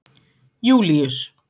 Júlíus